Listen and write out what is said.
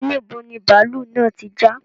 Níbo ni bàálú náà tí já